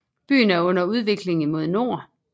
Byen er under udvikling imod nord